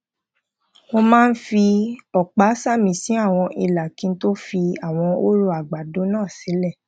mo máa ń fi òpá sàmì sí àwọn ìlà kí n tó fi àwọn hóró àgbàdo náà sílè